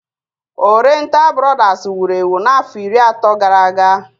Oriental brodas wuru ewu n'afọ iri atọ gara aga